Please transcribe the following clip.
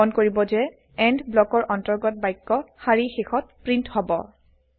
মন কৰিব যে এণ্ড ব্লকৰ অন্তৰ্গত বাক্য শাৰী শেষত প্ৰীন্ট হব